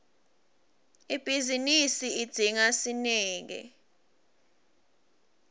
ibhizinisi idzinga sineke